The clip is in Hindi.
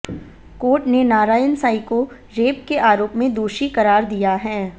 कोर्ट ने नारायण साईं को रेप के आरोप में दोषी करार दिया है